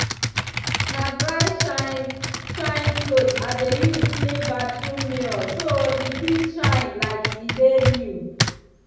na dry shine-shine cloth i de use clean bathroom mirror so e fit shine like e dey new.